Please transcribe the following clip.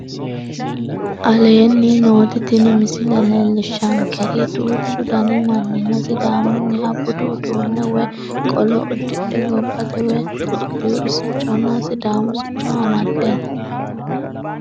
Aleenni nooti tini misile leellishaankeri duuchu danni mannina sidaamunniha budu uduunne woyi qolo udidhe gobbate woyi tophiwu siconna sidaamu sico amaddeno